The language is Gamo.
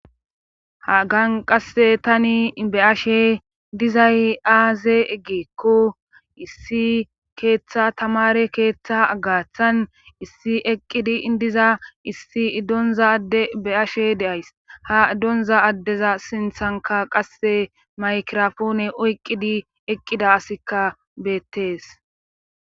hagan qasse tani be ashe dizay aaze eggeekko issi keeththa tamare keeththa agaththan issi eqqidi indiza issi iddonza adde be ashe deays ha iddonza addeza sinthanka qasse maykirafoone oyqqidi eqqida asikka beettees